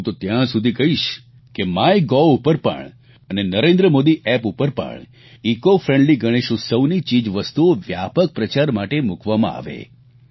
અને હું તો ત્યાં સુધી કહીશ કે માય ગોવ ઉપર પણ અને નરેન્દ્ર મોદી એપ ઉપર પણ ઇકો ફ્રેન્ડલી ગણેશ ઉત્સવની ચીજવસ્તુઓ વ્યાપક પ્રચાર માટે મૂકવામાં આવે